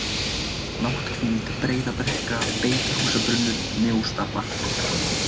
Nátthvíld, Breiðabrekka, Beitarhúsabrunnur, Mjóstapar